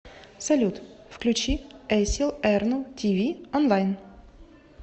салют включи эсил эрну ти ви онлайн